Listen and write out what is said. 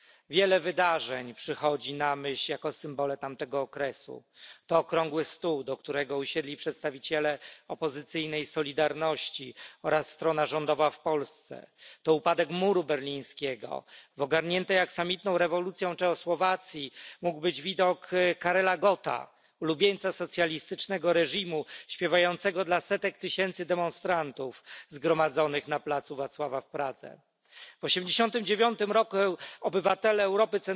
Wiele wydarzeń przychodzi na myśl jako symbole tamtego okresu, to okrągły stół, do którego usiedli przedstawiciele opozycyjnej Solidarności oraz strona rządowa w Polsce, to upadek muru berlińskiego, w ogarniętej aksamitną rewolucją Czechosłowacji mógł być widok Karela Gotta, ulubieńca socjalistycznego reżimu, śpiewającego dla setek tysięcy demonstrantów zgromadzonych na placu Wacława w Pradze. W 1989 roku obywatele Europy